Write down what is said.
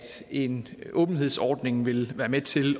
en åbenhedsordning vil være med til